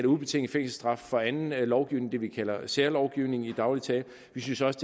ubetinget fængselsstraf for anden lovgivning det vi kalder særlovgivning i daglig tale vi synes også